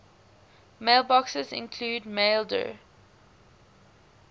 mailboxes include maildir